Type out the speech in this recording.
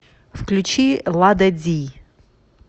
включи ла да ди